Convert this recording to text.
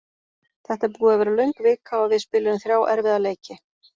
Þetta er búið að vera löng vika og við spiluðum þrjá erfiða leiki.